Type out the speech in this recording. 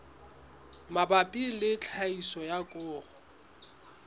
mabapi le tlhahiso ya koro